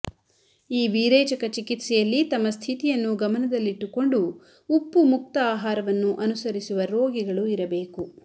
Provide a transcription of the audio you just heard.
ಈ ವಿರೇಚಕ ಚಿಕಿತ್ಸೆಯಲ್ಲಿ ತಮ್ಮ ಸ್ಥಿತಿಯನ್ನು ಗಮನದಲ್ಲಿಟ್ಟುಕೊಂಡು ಉಪ್ಪು ಮುಕ್ತ ಆಹಾರವನ್ನು ಅನುಸರಿಸುವ ರೋಗಿಗಳು ಇರಬೇಕು